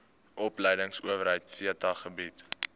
opleidingsowerheid theta bied